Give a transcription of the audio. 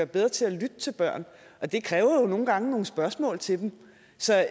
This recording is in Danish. bedre til at lytte til børn og det kræver jo nogle gange nogle spørgsmål til dem så jeg